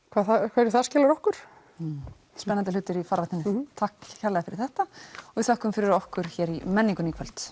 hverju það skilar okkur spennandi hlutir í farveginum takk kærlega fyrir þetta og við þökkum fyrir okkur í menningunni í kvöld